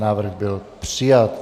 Návrh byl přijat.